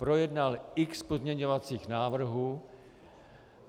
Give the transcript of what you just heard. Projednal x pozměňovacích návrhů.